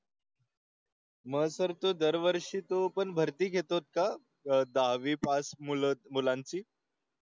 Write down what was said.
मग सर तो दरवर्षी तो पण भरती घेतोस का? दहा वी पास मुलं मुलांची.